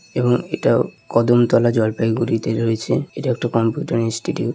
এবং এটাও কদমতলা জলপাইগুঁড়িতে রয়েছে এটা একটা কম্পিউটার ইনস্টিটিউট।